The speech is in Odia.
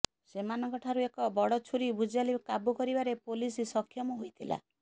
ସେମାନଙ୍କ ଠାରୁ ଏକ ବଢ ଛୁରୀ ଭୁଜାଲି କାବୁ କରିବାରେ ପୋଲିସ୍ ସକ୍ଷମ ହୋଇଥିଲା